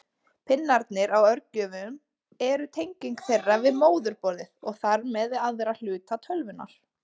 Pinnarnir á örgjörvum eru tenging þeirra við móðurborðið og þar með við aðra hluta tölvunnar.